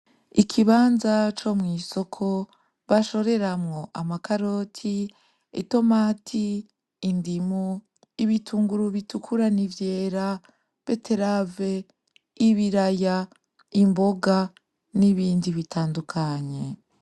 Ikibanza co mw'isoko bashoreramwo: Amakaroti, itomati, indimu, ibitunguru bitukura nivyera, beterave, ibiraya, imboga n'ibindi bitandukanye.